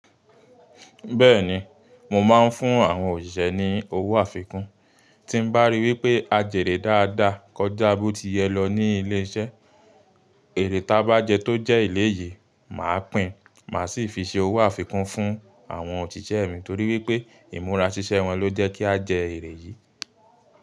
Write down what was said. Bẹ́ẹ̀ni, mo máa ń fún àwọn òṣìṣẹ́ ní owó àfikún tí n bá rí wípé a jèrè dáadáa kọjá bó ti yẹ lọ ní ilé iṣẹ́. Èrè ta bá jẹ tó jẹ́ eléyìí, màá pìn, màá sì fi ṣe owó àfikún fún àwọn òṣìṣẹ́ mi torí wípé ìmúra ṣíṣẹ́ wọn ló jẹ́ kí a jẹ èrè yìí.